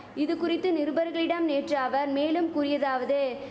இது குறித்து நிருபர்களிடம் நேற்று அவர் மேலும் கூறியதாவது